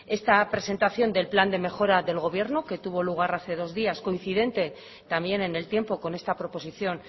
esta presentación del plan de mejora del gobierno que tuvo lugar hace dos días coincidente también en el tiempo con esta proposición